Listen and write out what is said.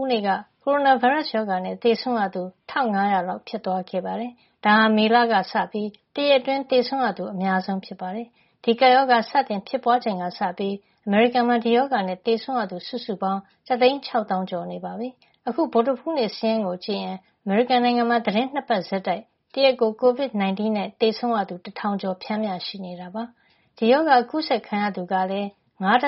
ူးနေ့က ကိုရိုနာဗိုင်းရပ်စ်ရောဂါနဲ့ သေဆုံးရသူ ၁၅၀၀ လောက် ဖြစ်သွားခဲ့ပါတယ်။ ဒါဟာ မေလကစပြီး တရက်အတွင်း သေဆုံးရသူ အများဆုံးဖြစ်ပါတယ်။ ဒီကပ်ရောဂါစတင် ဖြစ်ပွါးခဲ့ချိန်ကစပြီး အမေရိကန်နိုင်ငံမှာ ဒီရောဂါနဲ့ သေဆုံးရသူ စုစုပေါင်းက တသိန်း ခြောက်သောင်းကျော် (၁၆၆,၀၂၇) နေပြီ ဖြစ်ပါတယ်။ အခု ဗုဒ္ဓဟူးနေ့ စာရင်းကို ကြည့်ရင် အမေရိကန်နိုင်ငံမှာ သီတင်း ၂ ပတ် ဆက်တိုက် တရက်ကို ကိုဗစ် ၁၉ ရောဂါနဲ့ သေဆုံးသူ တထောင်ကျော် ပျမ်းမ ျှ ရှိနေတာ ဖြစ်ပါတယ်။ ဒီရောဂါ အကူးစက်ခံရသူကလည်း ၅.၁ သ